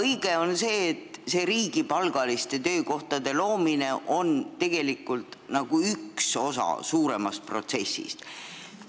Õige on see, et riigipalgaliste töökohtade loomine on üks osa suuremast protsessist.